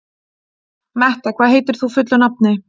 Metta, hvað heitir þú fullu nafni?